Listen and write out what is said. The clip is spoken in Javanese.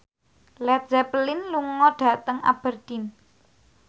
Led Zeppelin lunga dhateng Aberdeen